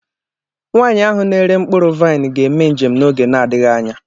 Nwanyị ahụ na-ere mkpụrụ vaịn ga-eme njem n'oge na-adịghị anya.